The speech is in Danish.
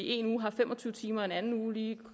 en uge har fem og tyve timer og en anden uge lige